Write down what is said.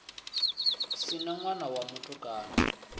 si na ṋwana wa mutukana